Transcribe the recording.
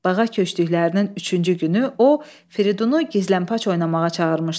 Bağa köçdüklərinin üçüncü günü o Fridunu gizlənpac oynamağa çağırmışdı.